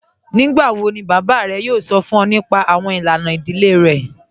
Nígbàwọ̀ ni bàbá rẹ̀ yóò sọ̀ fún ọ̀ nípà awọn ilànà ìdílé rẹ̀?